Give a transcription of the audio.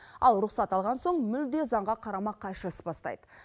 ал рұқсат алған соң мүлде заңға қарама қайшы іс бастайды